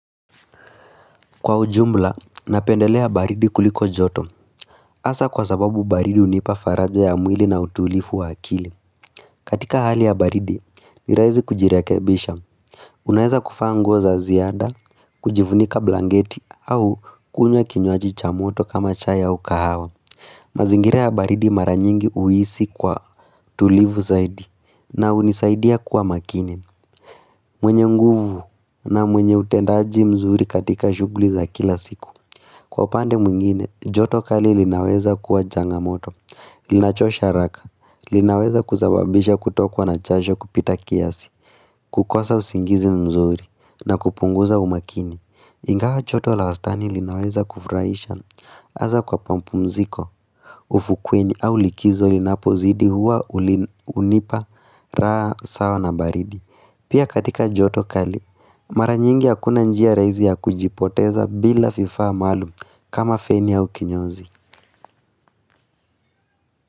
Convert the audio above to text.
Kwa ujumla, napendelea baridi kuliko joto hasa kwa sababu baridi hunipa faraja ya mwili na utulifu wa akili katika hali ya baridi, niraizi kujirekebisha Unaeza kufaa nguo za ziada, kujivunika blanketi au kunywa kinywaji cha moto kama chai au kahawa mazingira baridi mara nyingi huhisi kwa tulivu zaidi na hunisaidia kuwa makini mwenye nguvu na mwenye utendaji mzuri katika shughuli za kila siku Kwa pande mwingine, joto kali linaweza kuwa janga moto, linachosha haraka, linaweza kusababisha kutokwa na jasho kupita kiasi, kukosa usingizi mzuri, na kupunguza umakini. Ingawa joto la wastani linaweza kufurahisha, hasa kwa mapumziko, ufukweni au likizo linapozidi huwa hunipa raha sawa na baridi. Pia katika joto kali, mara nyingi hakuna njia rahisi ya kujipoteza bila viifaa maalum kama feni au kinyozi.